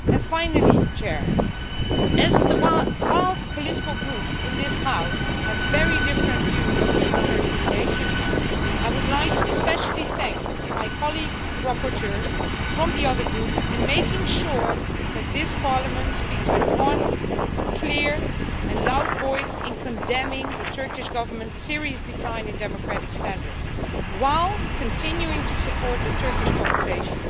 Finally, while the political Groups in this House have very different views on EU Turkey relations, I would like to thank especially my colleague rapporteurs from the other Groups in making sure that this Parliament speaks with one, clear and loud voice in condemning the Turkish Government's serious decline in democratic standards, while continuing to support the Turkish population,